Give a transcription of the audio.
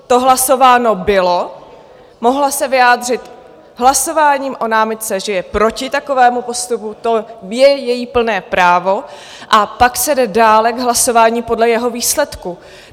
To hlasováno bylo, mohla se vyjádřit hlasováním o námitce, že je proti takovému postupu, to je její plné právo, a pak se jde dále k hlasování podle jeho výsledku.